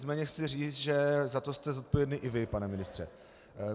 Nicméně chci říci, že za to jste zodpovědný i vy, pane ministře.